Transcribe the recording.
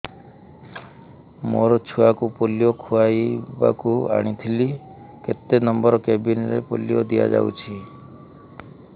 ମୋର ଛୁଆକୁ ପୋଲିଓ ଖୁଆଇବାକୁ ଆଣିଥିଲି କେତେ ନମ୍ବର କେବିନ ରେ ପୋଲିଓ ଦିଆଯାଉଛି